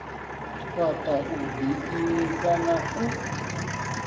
fhaṱa u ḓiimisa na u